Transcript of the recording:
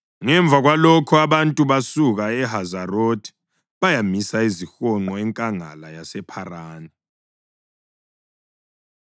Ngemva kwalokho, abantu basuka eHazerothi bayamisa izihonqo enkangala yasePharani.